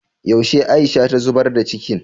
yaushe Aisha ta zubar da cikin